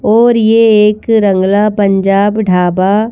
और ये एक रंगला पंजाब ढाबा--